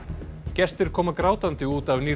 gestir koma grátandi út af nýrri